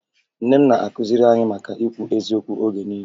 Nne m na-akụziri anyị maka ikwu eziokwu oge niile